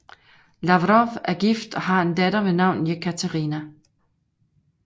Lavrov er gift og har en datter ved navn Jekaterina